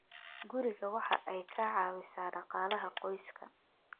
guriga waxa ay ka caawisaa dhaqaalaha qoyska.